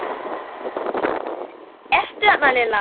Ertu þarna Lilla?